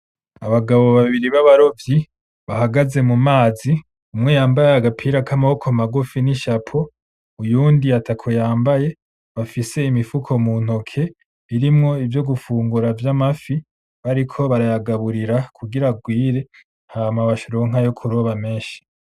Abagabo babiri babarovyi bahagaze mu mazi umwe yambaye agapira k’amabiko magufi n’ishapo uyundi atako yambaye bafise imifuko mu ntoke birimwo ivyo gufungura vy’amafi bariko baragaburira kugira arwire hama baronke ayo kuroba meshi.